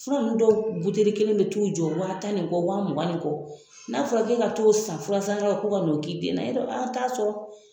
Fura nunnu dɔw kelen bɛ t'u jɔ wa tan nin kɔ, wa mugan ni kɔ, n'a fɔra k'e ka to san furasanyɔrɔ la ko ka na k'i den na, y'a dɔ a t'a sɔrɔ.